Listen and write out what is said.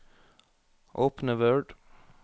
Åpne Word